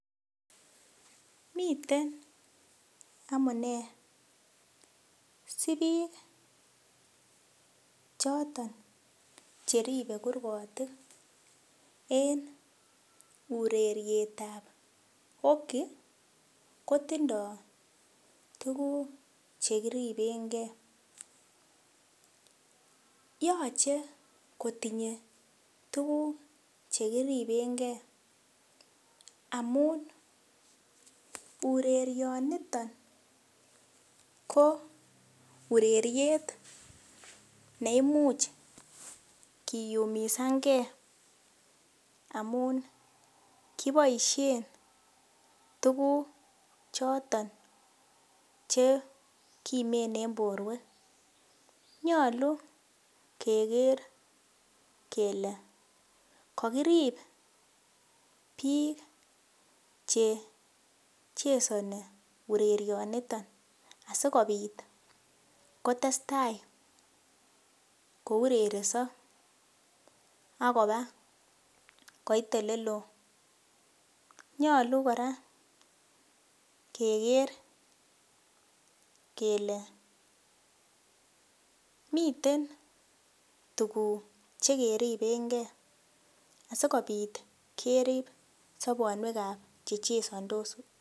Miten amune si biik choton cheribe kurgotik en urerietab hockey ko tindo tuguk che kiripenge. Yoche kotinye tuguk che kiripenge amun orerionito ko ureriet neimuch kiyumisan nge amun kiboisien tuguk choton chekimen en borwek. Nyalu keger kele kakirip biik che chesoni urerionito asigopit kotestai kourereso ak koba koit olelo. Nyalu kora keger kele miten tuguk chekeriben ke asikopit kerip sobonwekab che chesondos.